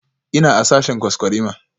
Ina a sashen kwaskwarima